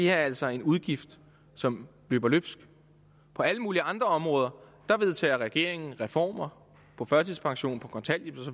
er altså en udgift som løber løbsk på alle mulige andre områder vedtager regeringen reformer på førtidspension på kontanthjælp